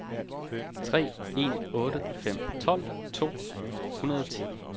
tre en otte fem tolv to hundrede og ti